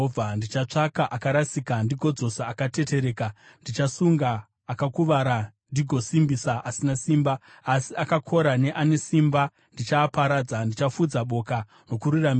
Ndichatsvaka akarasika ndigodzosa akatetereka. Ndichasunga akakuvara ndigosimbisa asina simba, asi akakora neane simba ndichaaparadza. Ndichafudza boka nokururamisira.